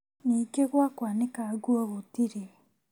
Ningĩ gwa kwanĩka nguo gũtirĩ